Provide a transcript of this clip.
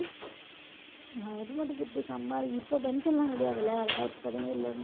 government துட்டு சம்பாரிக்~ இப்ப pension எல்லாம் கிடையாது இல்லை இரண்டாயிரத்தி பதினேழுல இருந்தே